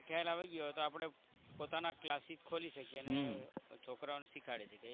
વધારે ખ્યાલ આવી ગયો હોય તો આપણે પોતાના classes ખોલી શકીએ અને છોકરાઓને શીખવાડી શકીએ.